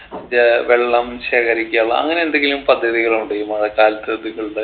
J വെള്ളം ശേഖരിക്കാനുള്ള അങ്ങനെന്തെങ്കിലും പദ്ധതികളുണ്ടോ ഈ മഴക്കാലത്ത് നിങ്ങളുടെ